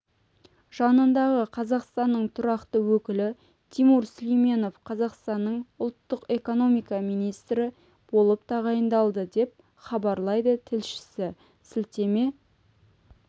жанындағы қазақстанның тұрақты өкілі тимур сүлейменов қазақстанның ұлттық экономика министрі болып тағайындалды деп хабарлайды тілшісі сілтеме